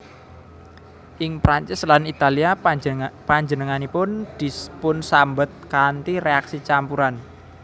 Ing Prancis lan Italia panjenenganipun dipunsambet kanthi réaksi campuran